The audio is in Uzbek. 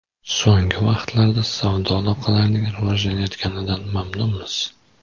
So‘nggi vaqtlarda savdo aloqalarining rivojlanayotganidan mamnunmiz.